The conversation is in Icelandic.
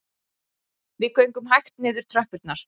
Við gengum hægt niður tröppurnar